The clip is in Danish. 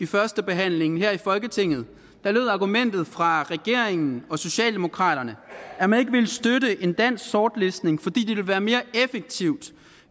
første behandling her i folketinget lød argumentet fra regeringen og socialdemokraterne at man ikke ville støtte en dansk sortlistning fordi det ville være mere effektivt